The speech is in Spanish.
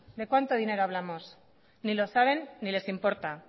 de cuánto dinero hablamos ni lo saben ni les importa